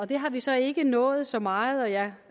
det har vi så ikke nået så meget og jeg